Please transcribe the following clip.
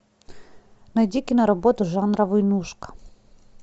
найди киноработу жанра войнушка